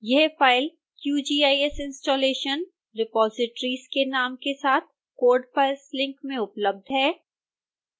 यह file qgis installation repositories के नाम के साथ code files लिंक में उपलब्ध है